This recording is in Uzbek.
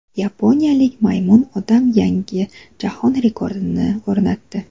Yaponiyalik Maymun odam yangi jahon rekordini o‘rnatdi.